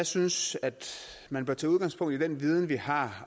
synes jeg at man bør tage udgangspunkt i den viden vi har